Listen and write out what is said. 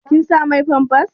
Kin sa mai famfas?